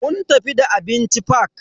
Mun tafi da abinci fak.